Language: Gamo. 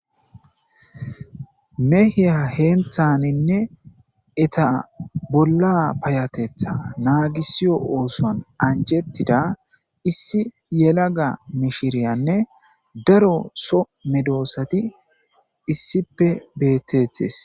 Mehiya heenthaninne eta bolla payatetha naagisiyo oosoan anjettida issi yelaga mishiriyanne daro so medoosati issippe beettetes.